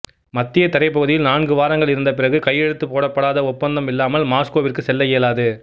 மத்திய தரைப்பகுதியில் நான்கு வாரங்கள் இருந்த பிறகு கையெழுத்து போடப்படாத ஒப்பந்தம் இல்லாமல் மாஸ்கோவிற்கு செல்ல இயலாது